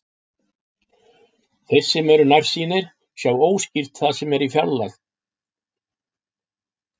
Þeir sem eru nærsýnir sjá óskýrt það sem er fjarlægt.